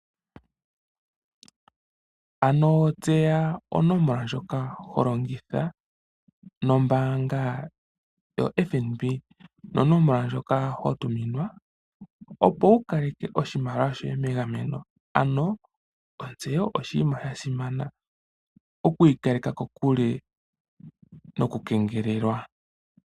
Ano tseya onomola ndjoka ho longitha nombaanga yoFNB, nonomola ndjoka ho tuminwa opo wu kaleke oshimaliwa shoye megameno, ano ontseyo oshinima sha simana, okwiikaleka kokule nokukengelelwa.